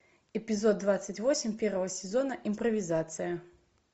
эпизод двадцать восемь первого сезона импровизация